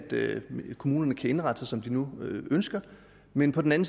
kommunerne kan indrette sig som de nu ønsker men på den